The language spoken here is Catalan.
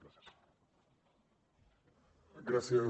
gràcies